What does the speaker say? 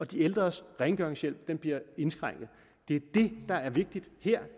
de ældres rengøringshjælp bliver indskrænket det der er vigtigt her